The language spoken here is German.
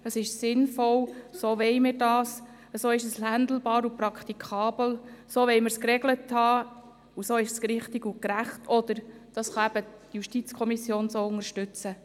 So ist es sinnvoll, so wollen wir das, so ist es handhabbar und praktikabel, so wollen wir es geregelt haben, und so ist es richtig und gerecht, oder – anders gesagt – so kann die JuKo den Antrag unterstützen.